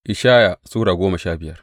Ishaya Sura goma sha biyar